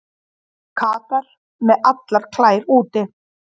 Katar með allar klær úti